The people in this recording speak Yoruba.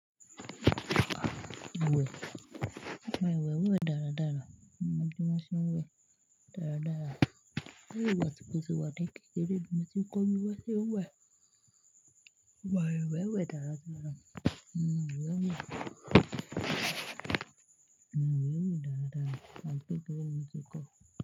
Wẹ̀, mà wẹ̀ wẹ̀ dára dára, mo mọ bí wọn ṣe ń wẹ̀ dára dára. Bẹ́ẹ̀ni ìwà tí kò sí wà tó kékeré ló bá ti kọ wíwẹ̀ mio ń wẹ̀ mà wẹ̀ wẹ̀ dára dára, mà wẹ̀ wẹ̀, mà wẹ̀ wẹ̀ dára dára, à ti kékeré ni mi ti kọ́.